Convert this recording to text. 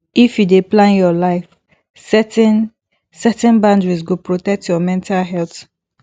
if you dey plan your life setting setting boundaries go protect your mental health